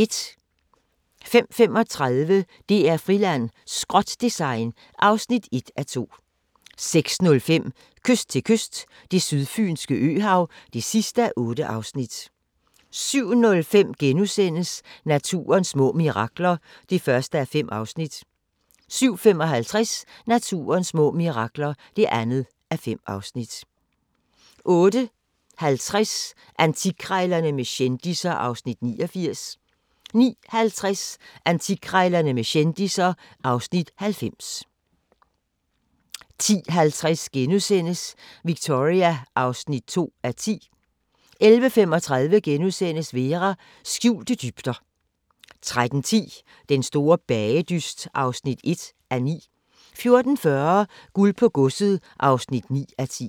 05:35: DR-Friland: Skrot-design (1:2) 06:05: Kyst til kyst – Det sydfynske øhav (8:8) 07:05: Naturens små mirakler (1:5)* 07:55: Naturens små mirakler (2:5) 08:50: Antikkrejlerne med kendisser (Afs. 89) 09:50: Antikkrejlerne med kendisser (Afs. 90) 10:50: Victoria (2:10)* 11:35: Vera: Skjulte dybder * 13:10: Den store bagedyst (1:9) 14:40: Guld på Godset (9:10)